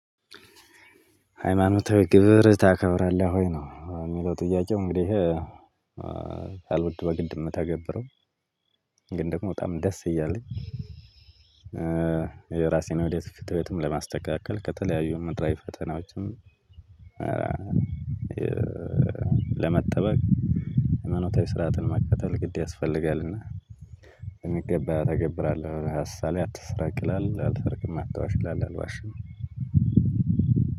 ሃይማኖታዊ ግብር ታከብራለህ ወይ ነው ሚለው ጥያቄው? እንግዲህ ሳልወድ በግድ ምተግብረው ግን ደግሞ በጣም ደስ እያለኝ። የራሴን ወደፊት ፍትህይወትም ለማስተካከል ከተለያዩ ምድራዊ ፈተናዎችም። ለመጠበቅ ሃይማኖታዊ ስርዓትን መከተል ግድ ያስፈልጋልና። በሚገባ ተገብራለሁ ሀሳሌ አትሰራቅላል አልተርክም አታውሽላል አልዋሽም።